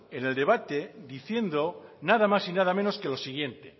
en el debate diciendo nada más y nada menos que lo siguiente